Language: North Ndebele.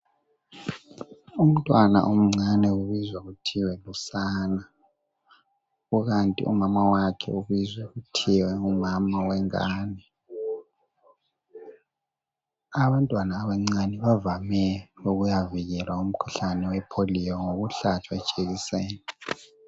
Umntwana omncane ubizwa kuthiwa lusana, kukanti umama wakhe ubizwa kuthiwa ngumama wengane. Abantwana abancane bavame ukuyavikelwa umkhuhlane wepholiyo ngokuhlatshwa ijekiseni.